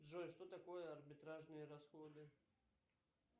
джой что такое арбитражные расходы